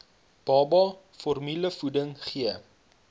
baba formulevoeding gee